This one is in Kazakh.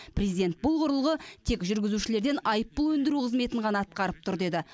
президент бұл құрылғы тек жүргізушілерден айыппұл өндіру қызметін ғана атқарып тұр деді